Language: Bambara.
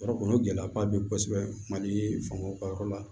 Yɔrɔ kɔni o gɛlɛyaba be yen kosɛbɛ mali fangaw ka yɔrɔ la